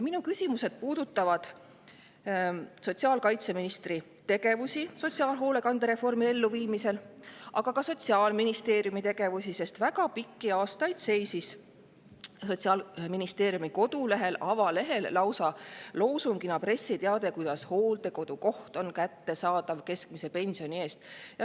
Meie küsimused puudutavad sotsiaalkaitseministri tegevust sotsiaalhoolekande reformi elluviimisel, aga ka Sotsiaalministeeriumi tegevust, sest väga pikki aastaid seisis Sotsiaalministeeriumi kodulehel, avalehel lausa, loosungina pressiteade, kuidas hooldekodukoht on kättesaadav keskmise pensioni eest.